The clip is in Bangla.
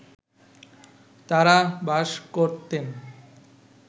তাঁরা বাস করতেন